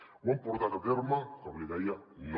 ho han portat a terme com li deia no